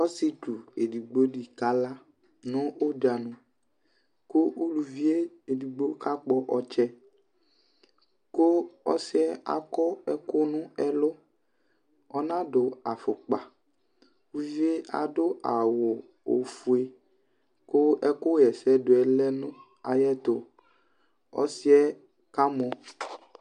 Ɔsietsu ɛdigbo di kala nʋ ɔdza ni, kʋ uluvie ɛdigbo kakpɔ ɔtsɛ kʋ ɔsi yɛ akɔ ɛkʋ nʋ ɛlʋ Ɔnadʋ afʋkpa Uvie adʋ awʋ ofue kʋ ɛkʋɣɛsɛdʋ yɛ lɛ nʋ ayɛtʋ Ɔsi ɛ kamɔ